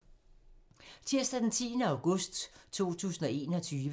Tirsdag d. 10. august 2021